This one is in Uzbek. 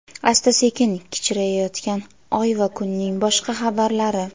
asta-sekin kichrayayotgan Oy va kunning boshqa xabarlari.